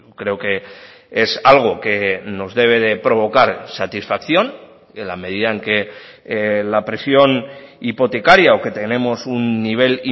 creo que es algo que nos debe de provocar satisfacción en la medida en que la presión hipotecaria o que tenemos un nivel